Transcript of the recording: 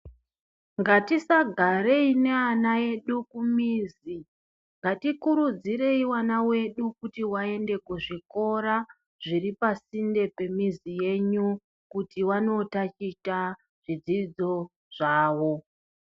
Ngatisagarei neana edu kumizi ngatikurudzirei ana edu kuti aende kuzvikora zviri pasinde pemizi yenyu kuti vandotaticha zvidzidzo zvavo.